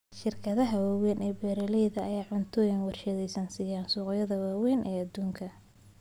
Shirkadaha waaweyn ee beeralayda ayaa cunto warshadaysan siiya suuqyada waaweyn ee adduunka